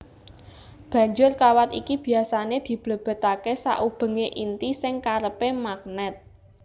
Banjur kawat iki biasané diblebetaké saubengé inti sing kerepé magnèt